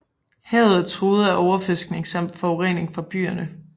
Havet er truet af overfiskning samt forurening fra byerne